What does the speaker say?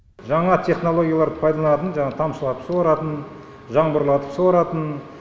жаңа технологияларды пайдаланатын жаңағы тамшылатып суаратын жаңбырлатып суаратын